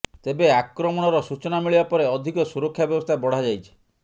ତେବେ ଆକ୍ରମଣର ସୂଚନା ମିଳିବା ପରେ ଅଧିକ ସୁରକ୍ଷା ବ୍ୟବସ୍ଥା ବଢାଯାଇଛି